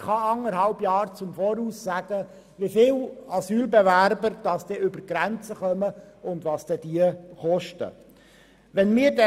Wer kann eineinhalb Jahre im Voraus sagen, wie viele Asylbewerber über die Grenzen kommen und was diese dann kosten werden?